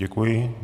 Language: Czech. Děkuji.